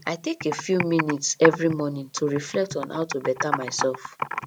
i take a few minutes every morning to reflect on how to better myself